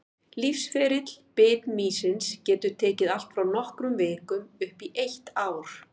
Lífsferill bitmýsins getur tekið allt frá nokkrum vikum upp í eitt ár.